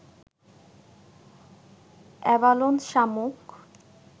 abalone শামুক